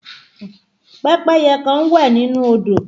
Pẹ́pẹ́yẹ kan ń wẹ̀ nínú odò